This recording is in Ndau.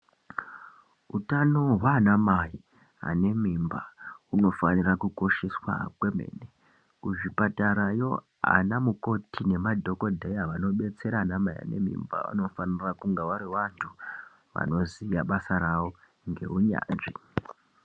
Hutano hwana Mai ane mimba hunofana kukosheswa kwemene kuzvipatarayo ana mukoti nemadhokodheya anobetsera ana mai ane mimba vanofanira kunge vari vantu vanoziva basa rawo ngehunyanzvi.